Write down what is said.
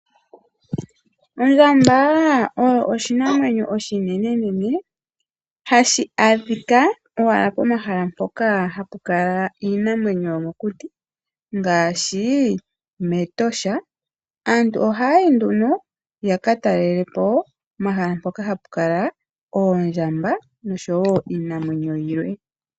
Ondjamba oyo oshinamwenyo oshinenenene, hashi adhika owala pomahala mpoka hapu kala iinamwenyo yomokuti ngaashi mEtosha. Aantu ohaya yi nduno haka talele po omahala mpoka hapu kala oondjamba noshowo iinamwenyo yilwe.